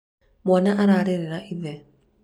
mwana ararĩrĩra ithe